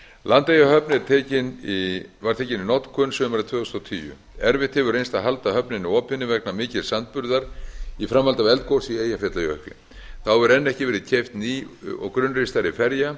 landeyjahöfn var tekin í notkun sumarið tvö þúsund og tíu erfitt hefur reynst að halda höfninni opinni vegna mikils sandburðar í framhaldi af eldgosi í eyjafjallajökli þá hefur enn ekki verið keypt ný og grunnristari ferja